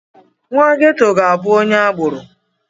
Nwa Ghetto ga-abụ onye agboro.